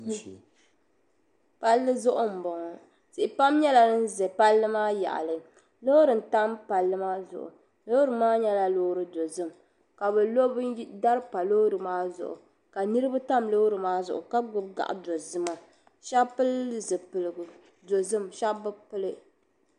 Palli zuɣu m bo ŋɔ tihi pam nyela din ʒe palli maa yaɣili loori n tam palli maa zuɣu loori maa nyela zaɣdozim ka bi lo dari pa loori maa zuɣu ka niribi tam loori maa zuɣu ka gbubi gaɣidozima shɛb pili zipiligu dozim shɛb bi pili.